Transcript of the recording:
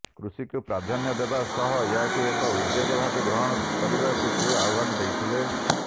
କୃଷିକୁ ପ୍ରାଧାନ୍ୟ ଦେବା ସହ ଏହାକୁ ଏକ ଉଦ୍ୟୋଗ ଭାବେ ଗ୍ରହଣ କରିବାକୁ ସେ ଆହ୍ୱାନ ଦେଇଥିଲେ